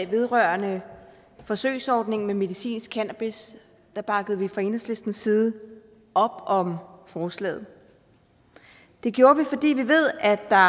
vedrørende forsøgsordning med medicinsk cannabis bakkede vi fra enhedslistens side op om forslaget det gjorde vi fordi vi ved at der